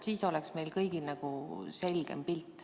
Siis oleks meil kõigil nagu selgem pilt.